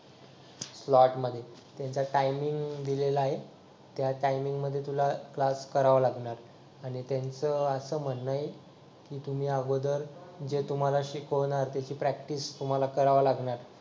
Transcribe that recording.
स्लॉटमध्ये त्याचा टाइमिंग दिलेला आहे त्या टायमिंग मध्ये तुला क्लास करावा लागणार आणि त्यांचं असं म्हणणं आहे की तुम्ही अगोदर जे तुम्हाला शिकवणार त्याची प्रॅक्टिस तुम्हाला करावी लागणार